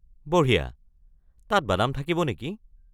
বঢ়িয়া, তাত বাদাম থাকিব নেকি?